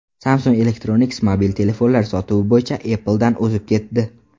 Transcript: Samsung Electronics mobil telefonlar sotuvi bo‘yicha Apple’dan o‘zib ketdi.